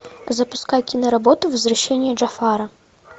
запускай киноработу возвращение джафара